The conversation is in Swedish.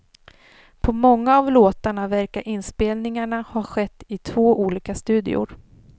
På många av låtarna verkar inspelningarna ha skett i två olika studior.